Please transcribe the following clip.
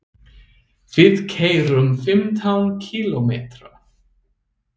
Við keyrum fimmtán kílómetra.